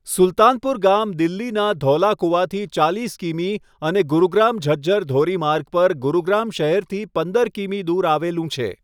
સુલતાનપુર ગામ દિલ્હીના ધૌલાકુવાથી ચાલીસ કિમી અને ગુરુગ્રામ ઝજ્જર ધોરીમાર્ગ પર ગુરુગ્રામ શહેરથી પંદર કિમી દૂર આવેલું છે.